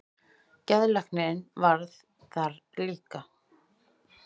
Geðlæknirinn varð það líka.